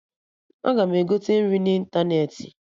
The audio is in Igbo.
Aga m egote nri n'ịntanetị